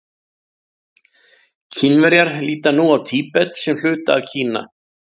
Kínverjar líta nú á Tíbet sem hluta af Kína.